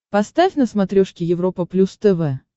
поставь на смотрешке европа плюс тв